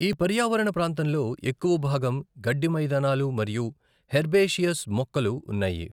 ఈ పర్యావరణ ప్రాంతంలో ఎక్కువ భాగం గడ్డి మైదానాలు మరియు హెర్బేషియస్ మొక్కలు ఉన్నాయి.